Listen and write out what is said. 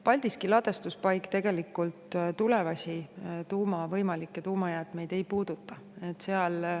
Paldiski ladustuspaik tegelikult võimalikke tulevasi tuumajäätmeid ei puuduta.